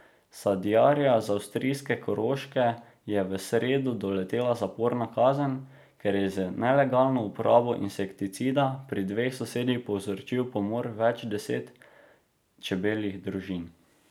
Sadjarja z avstrijske Koroške je v sredo doletela zaporna kazen, ker je z nelegalno uporabo insekticida pri dveh sosedih povzročil pomor več deset čebeljih družin.